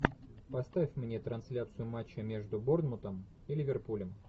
поставь мне трансляцию матча между борнмутом и ливерпулем